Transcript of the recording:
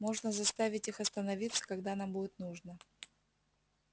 можно заставить их остановиться когда нам будет нужно